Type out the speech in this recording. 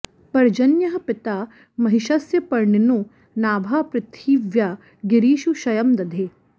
पर्जन्यः पिता महिषस्य पर्णिनो नाभा पृथिव्या गिरिषु क्षयं दधे